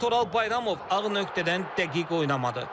Lakin Toral Bayramov ağ nöqtədən dəqiq oynamadı.